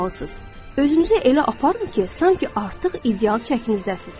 Özünüzü elə aparın ki, sanki artıq ideal çəkinizdəsiniz.